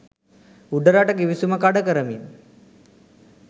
උඩරට ගිවිසුම කඩ කරමින්